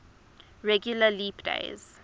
regular leap days